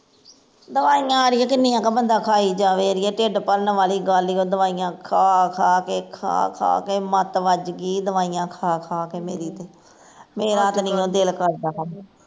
ਦਵਾਈਆਂ ਅੜੀਏ ਕਿਨੀਆਂ ਕੁ ਬੰਦਾ ਖਾਈ ਜਾਵੇ ਅੜੀਏ ਢਿੱਡ ਭਰਨ ਵਾਲੀ ਗੱਲ ਈ ਓ ਦਵਾਈਆਂ ਖਾ ਖਾ ਕੇ ਤੇ ਖਾ ਖਾ ਕੇ ਮਤ ਵਜਗੀ ਦਵਾਈਆਂ ਖਾ ਖਾ ਕੇ ਮੇਰੀ ਤੇ ਮੇਰਾਂ ਤੇ ਨਹੀਂਓ ਦਿਲ ਕਰਦਾ ਹੁਣ